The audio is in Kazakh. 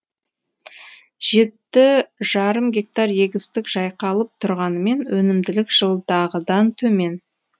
жеті жарым гектар егістік жайқалып тұрғанымен өнімділік жылдағыдан төмен